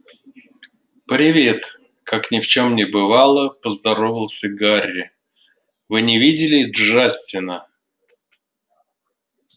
привет как ни в чём не бывало поздоровался гарри вы не видели джастина